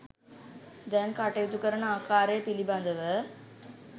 දැන් කටයුතු කරන ආකාරය පිළිබඳව